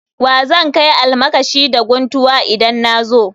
Wa zan kai almakashi da guntuwa idan na zo